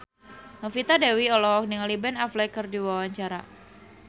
Novita Dewi olohok ningali Ben Affleck keur diwawancara